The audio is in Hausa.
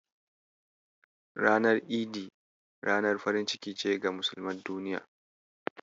Ranar Idi ranar farin ciki ce ga musulman duniya.